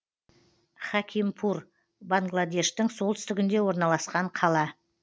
хакимпур баңладештің солтүстігінде орналасқан қала